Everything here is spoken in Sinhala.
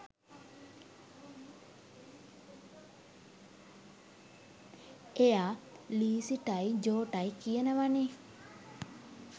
එයා ලීසිටයි ජෝටයි කියනවනේ.